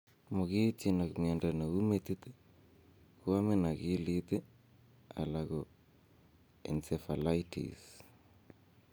Mogiityin ak miondo neu metit, kuamin akilit ii, alan ko encephalitis.